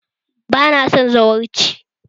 Bana son zawarci!